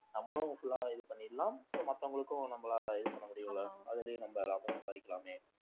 நம்மளும் full ஆ இது பண்ணிடலாம் so மத்தவங்களுக்கும் நம்மளால இது பண்ண முடியும் அதுலயும் நம்ம லாபம் சம்பாரிக்கலாமே